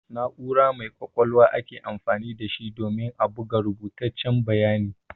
Na'ura mai ƙwaƙwalwa ake amfani da shi domin a buga rubutaccen bayani.